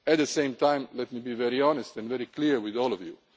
found. At the same time, let me be very honest and clear with all of